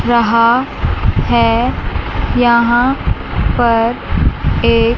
रहा है यहां पर एक--